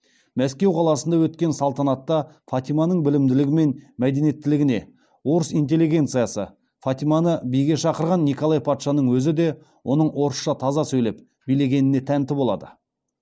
мәскеу қаласында өткен салтанатта фатиманың білімділігі мен мәдениеттілігіне орыс интеллигенциясы фатиманы биге шақырған николай патшаның өзі де оның орысша таза сөйлеп билегеніне тәнті болады